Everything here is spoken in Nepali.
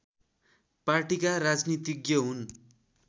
पार्टिका राजनीतिज्ञ हुन्